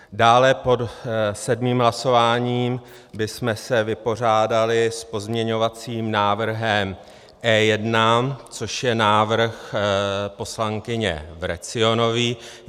Dále, pod sedmým hlasováním bychom se vypořádali s pozměňovacím návrhem E1, což je návrh poslankyně Vrecionové.